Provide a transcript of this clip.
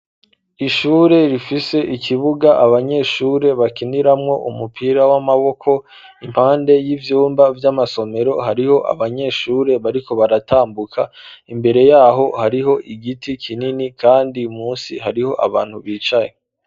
Ishure rifise ikibuga abanyeshure bakiniramwo umupira w'amaboko impande y'ivyumba vy'amasomero hariho abanyeshure bariko baratambuka imbere yaho hariho igiti kinini kandi munsi hariho abantu bicaye.